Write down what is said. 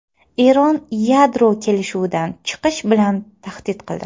Eron yadro kelishuvidan chiqish bilan tahdid qildi.